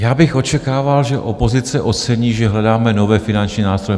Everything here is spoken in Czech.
Já bych očekával, že opozice ocení, že hledáme nové finanční nástroje.